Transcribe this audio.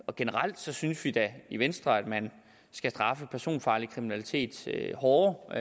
og generelt synes vi da i venstre at man skal straffe personfarlig kriminalitet hårdere og